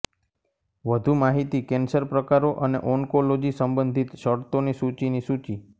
વધુ માહિતી કેન્સર પ્રકારો અને ઓન્કોલોજી સંબંધિત શરતોની સૂચિની સૂચિ